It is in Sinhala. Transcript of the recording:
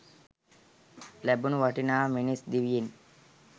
ලැබුණු වටිනා මිනිස් දිවියෙන්